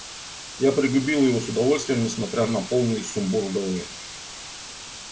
я пригубил его с удовольствием несмотря на полный сумбур в голове